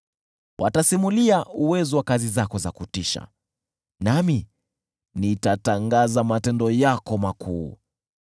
Watasimulia uwezo wa kazi zako za kutisha, nami nitatangaza matendo yako makuu.